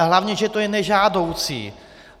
A hlavně že to je nežádoucí.